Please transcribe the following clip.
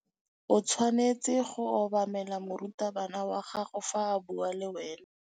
O tshwanetse go obamela morutabana wa gago fa a bua le wena.